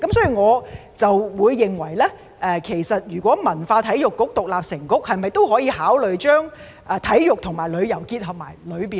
所以，如果文化及體育局獨立成局，可否考慮把體育和旅遊納入其中呢？